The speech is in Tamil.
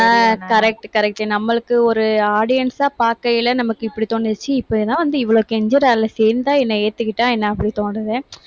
ஆஹ் correct correct நம்மளுக்கு ஒரு audience ஆ பார்க்கையில, நமக்கு இப்படி தோணுச்சு இவ்வளவு கெஞ்சறானே சேர்ந்தா என்ன, ஏத்துக்கிட்டா என்ன அப்படி தோணுது.